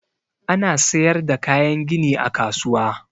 Ana siyar da kayan gini a kasuwa.